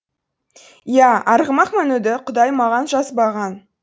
иә арғымақ мінуді құдай маған жазбаған